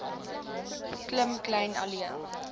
klim kleyn alleen